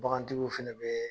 Bagantigiw fana bɛ